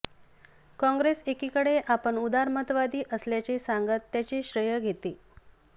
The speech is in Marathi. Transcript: काँग्रेस एकीकडे आपण उदारमतवादी असल्याचे सांगत त्याचे श्रेय घेते